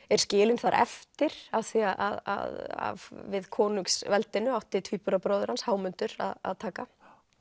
er skilinn þar eftir af því að við konungsveldinu átti tvíburabróðir hans Hámundur að taka